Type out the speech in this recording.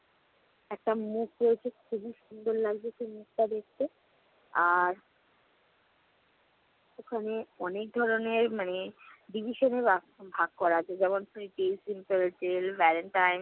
একটা মুখোশ খুবই সুন্দর লাগছে সেই মুখটা দেখতে। আর ওখানে অনেক ধরনের মানে division এ বাগ~ ভাগ করা আছে, যেমন তেল, valentine